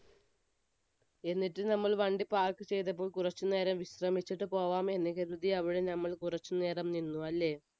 എന്നിട്ട് നമ്മൾ വണ്ടി park ചെയ്തിട്ട് കുറച്ചുനേരം വിശ്രമിച്ചിട്ട് പോകാം എന്ന് കരുതി അവിടെ നമ്മൾ കുറച്ചുനേരം നിന്നു അല്ലെ?